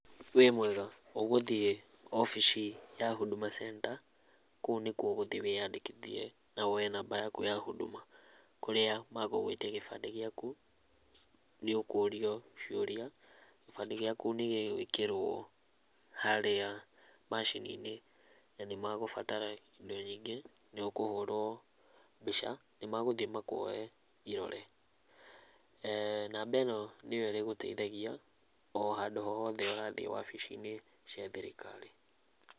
Wĩ mwega? Ũgũthiĩ obici ya Huduma Center kũu nĩkuo ũgũthiĩ wĩandĩkĩthie na woye namba yaku ya huduma kũrĩa magũgũĩtia kibandĩ gĩaku, nĩ ũkũrio ciũria kibande gĩaku nĩ gĩgũĩkĩrwo harĩa macininĩ na nĩ magũbatara indo nyingĩ nĩ ũkũhũrwo mbica nĩ magũthiĩ makũoye irore, namba ĩno nĩyo ĩrĩgũteithagia o handũ o hothe ũrathiĩ obici-inĩ cia thirikari.